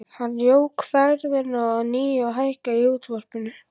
Hann jók ferðina að nýju og hækkaði í útvarpinu.